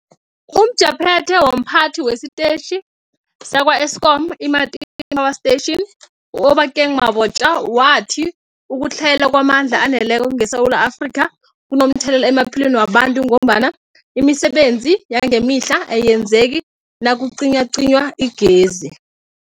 UmJaphethe womPhathi wesiTetjhi sakwa-Eskom i-Matimba Power Station u-Obakeng Mabotja wathi ukutlhayela kwamandla aneleko ngeSewula Afrika kunomthelela emaphilweni wabantu ngombana imisebenzi yangemihla ayenzeki nakucinywacinywa igezi.